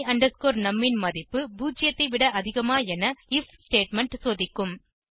my num ன் மதிப்பு 0 ஐ விட அதிகமா என ஐஎஃப் ஸ்டேட்மெண்ட் சோதிக்கும்